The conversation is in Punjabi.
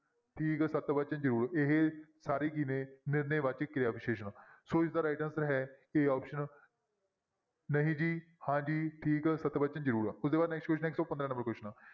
ਠੀਕ, ਸਤ ਵਚਨ, ਜ਼ਰੂਰ ਇਹ ਸਾਰੇ ਕੀ ਨੇ ਨਿਰਣੈ ਵਾਚਕ ਕਿਰਿਆ ਵਿਸ਼ੇਸ਼ਣ ਸੋ ਇਸਦਾ right answer ਹੈ a option ਨਹੀਂ ਜੀ, ਹਾਂ ਜੀ, ਠੀਕ, ਸਤਿ ਵਚਨ, ਜ਼ਰੂਰ ਉਹ ਤੋਂ ਬਾਅਦ next question ਹੈ ਇੱਕ ਸੌ ਪੰਦਰਾਂ number question